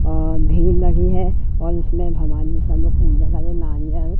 अ भीड़ लगी है और उसमें भवानी नारियल--